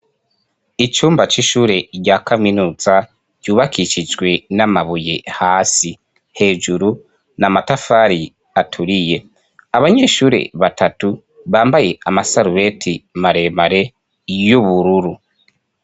Icumba c'ishure rya kaminuza ryubakishijwe n'amabuye hasi hejuru n'amatafari aturiye abanyeshure batatu bambaye amasarubeti maremare y'ubururu.